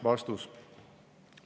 " Vastus.